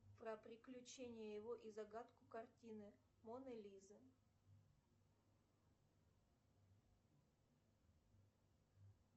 про приключения его и загадку картины моны лизы